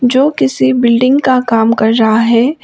जो किसी बिल्डिंग का काम कर रहा है।